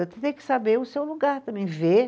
tem que saber o seu lugar também, ver.